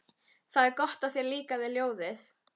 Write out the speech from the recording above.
Það er gott að þér líkaði ljóðið.